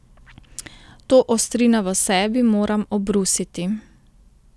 To ostrino v sebi moram obrusiti.